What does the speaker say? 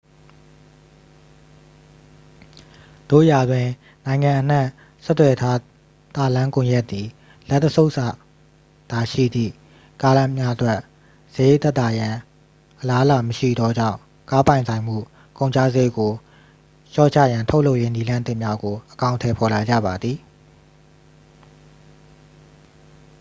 သို့ရာတွင် နိုင်ငံအနှံ့ဆက်သွယ်ထားသာလမ်းကွန်ရက်သည် လက်တစ်ဆုပ်သာရှိသည့် ကားများအတွက် စရိတ်သက်သာရန်အလားအလာမရှိသောကြောင့် ကားပိုင်ဆိုင်မှုကုန်ကျစရိတ်ကိုလျှော့ချရန် ထုတ်လုပ်ရေးနည်းလမ်းသစ်များကို အကောင်အထည်ဖော်လာကြပါသည်